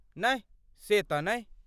नहि, से तेहन नहि।